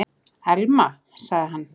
Elma- sagði hann.